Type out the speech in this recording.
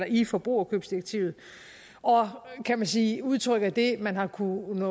i forbrugerkøbsdirektivet og kan man sige udtrykker det man har kunnet